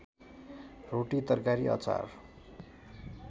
रोटी तरकारी अचार